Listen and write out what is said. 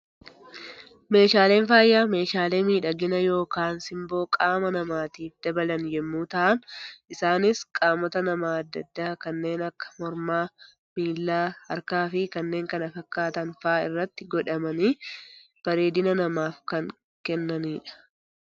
Meeshaaleen faayaa, meeshaalee miidhagina yookaan simboo qaama namaatiif dabalan yemmuu ta'an, isaanis qaamota namaa addaa addaa kanneen akka mormaa, miilaa, harkaa fi kanneen kana fakkaatan fa'aa irratti godhatamanii bareedina namaaf kan kennanidha.